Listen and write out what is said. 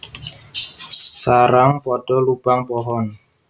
Sarang pada lubang pohon